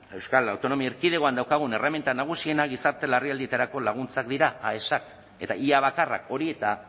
euskal autonomia erkidegoan daukagun erreminta nagusienak gizarte larrialdietarako laguntzak dira aes eta ia bakarrak hori eta